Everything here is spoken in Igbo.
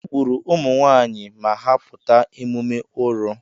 Egburu ụmụnwaanyị ma ha pụta emume Oro.